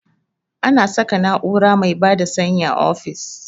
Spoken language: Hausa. Ana saka na'ura mai bada sanyi a ofis